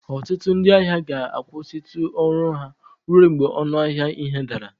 Ọtụtụ ndị ahịa ga-akwụsịtụ ọrụ ha ruo mgbe ọnụ ahịa ihe dara